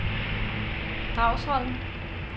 Dragsholm